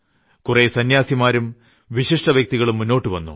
കുറേ സന്യാസിമാരും വിശിഷ്ട വ്യക്തികളും മുന്നോട്ടു വന്നു